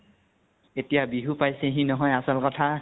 এতিয়া বিহু পাইছেহি নহয় আচল কথা